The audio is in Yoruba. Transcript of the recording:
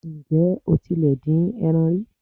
Ǹjẹ́ o tilẹ̀ ti dín eran rí?